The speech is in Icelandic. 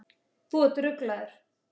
Þú ert ruglaður!